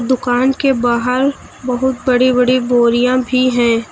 दुकान के बाहर बहुत बड़ी बड़ी बोरियां भी हैं।